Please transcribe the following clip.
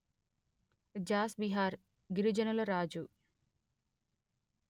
Jos Bihar గిరిజనుల రాజు